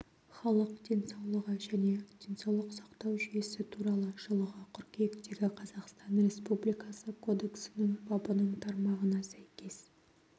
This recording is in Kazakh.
халық денсаулығы және денсаулық сақтау жүйесі туралы жылғы қыркүйектегі қазақстан республикасы кодексінің бабының тармағына сәйкес